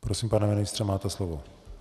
Prosím, pane ministře, máte slovo.